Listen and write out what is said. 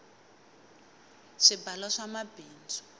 swibalo swa mabindzu